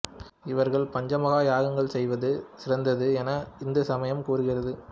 இவர்கள் பஞ்ச மகா யக்ஞங்கள் செய்வது சிறந்தது என இந்து சமயம் கூறுகிறது